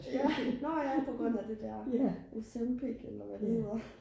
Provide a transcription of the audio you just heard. når ja på grund af det der Ozempic eller hvad det hedder